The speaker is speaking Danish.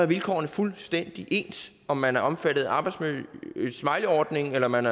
vilkårene fuldstændig ens om man er omfattet af smileyordningen eller man